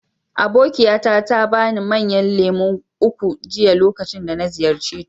Abokiyata ta ba ni manyan lemu uku jiya lokacin da na ziyarce ta.